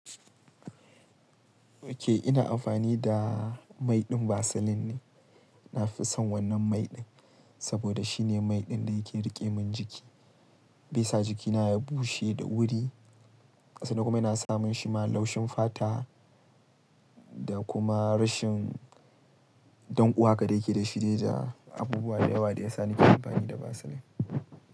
Okay, ina amfani da mai ɗin Vaseline ne. Na fi son wannan mai ɗin saboda shine mai ɗin da yake riƙe min jiki. Bai sa jikina ya bushe da wuri, sannan kuma yana samun shi ma laushin fata da kuma rashin ɗanko haka da yake da shirija. Abubuwa da yawa da yasa nake amfani da Vaseline.